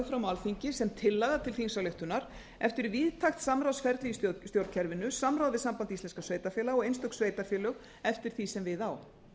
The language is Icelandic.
fram á alþingi sem tillaga til þingsályktunar eftir víðtækt samráðsferli í stjórnkerfinu samráð við samband íslenskra sveitarfélaga og einstök sveitarfélög eftir því sem við á